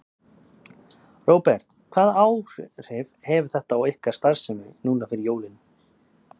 Róbert: Hvaða áhrif hefur þetta á ykkar starfsemi núna fyrir jólin?